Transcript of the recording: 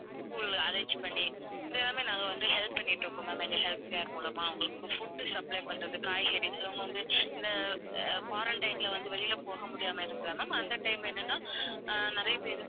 school arrange பண்ணி இது எல்லாமே நாங்க வந்து help பண்ணிட்டு இருக்கோம் ma'am எங்க health care மூலமா அவங்களுக்கு food supply பண்றது, காய்கறி. சிலவங்க வந்து இந்த அஹ் quarantine ல வந்து வெளியில போக முடியாம ma'am அந்த time என்னன்னா அஹ் நிறைய பேருக்கு